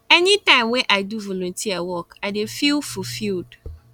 anytime wey i do volunteer work i dey feel fulfiled